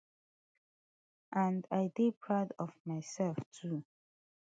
and i dey proud of mysef too